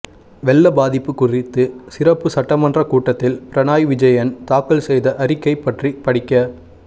வெள்ள பாதிப்பு குறித்து சிறப்புச் சட்டமன்ற கூட்டத்தில் பினராயி விஜயன் தாக்கல் செய்த அறிக்கைப் பற்றி படிக்க